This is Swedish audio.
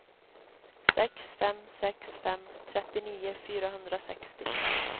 sex fem sex fem trettionio fyrahundrasextio